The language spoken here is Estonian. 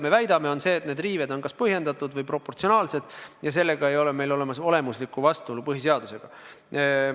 Meie väidame, et need riived on kas põhjendatud või proportsionaalsed ja nii ei ole olemas olemuslikku vastuolu põhiseadusega.